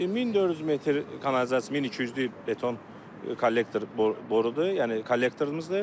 1400 metr kanalizasiya, 1200-lük beton kollektor borudur, yəni kollektorımızdır.